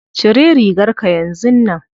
Cire rigarka yanzun nan.